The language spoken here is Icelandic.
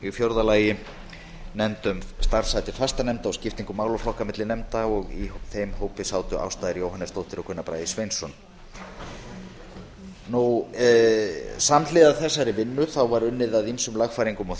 í fjórða lagi var nefnd um skiptingu málaflokka á milli fastanefnda og starfshættir nefnda og í þeim hópi sátu ásta r jóhannesdóttir og gunnar bragi sveinsson samhliða þessari vinnu var unnið að ýmsum lagfæringum